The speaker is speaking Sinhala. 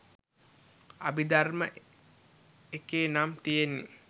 අභිධර්ම එකේ නම් තියෙන්නෙ